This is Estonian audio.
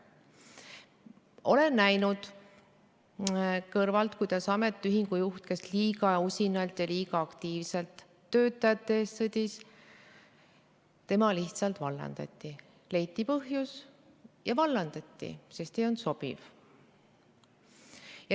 Olen kõrvalt näinud, kuidas ametiühingu juht, kes liiga usinalt ja aktiivselt töötajate eest sõdis, lihtsalt vallandati, leiti põhjus ja vallandati, sest ta ei olnud sobiv.